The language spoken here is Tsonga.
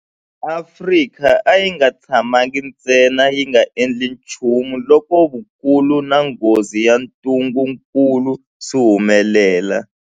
Afrika a yi nga tshamangi ntsena yi nga endli nchumu loko vukulu na nghozi ya ntungukulu swi humelela.